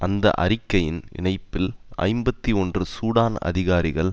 அந்த அறிக்கையின் இணைப்பில் ஐம்பத்தி ஒன்று சூடான் அதிகாரிகள்